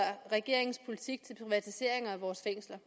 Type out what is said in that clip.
regeringens politik for privatiseringer af vores fængsler